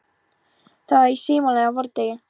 Það var í smalamennsku á vordegi.